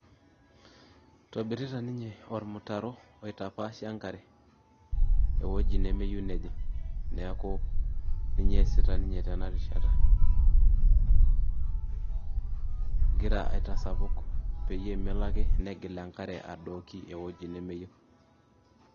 Itobirita ninye ormutaro oitapaashie enkare ewueji nemeyieu nejing' neeku ninye eesita ninye tena rishata egira aitasapuk peyie melo ake negil enkare adoiki ewueji nemeyieu.